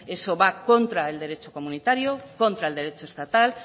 eso va contra el derecho comunitario contra el derecho estatal